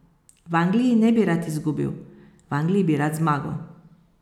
V Angliji ne bi rad izgubil, v Angliji bi rad zmagal.